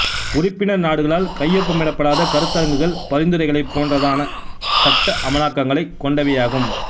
உறுப்பினர் நாடுகளால் கையொப்பமிடப்படாத கருத்தரங்குகள் பரிந்துரைகளைப் போன்றதான சட்ட அமலாக்கங்களை கொண்டவையாகும்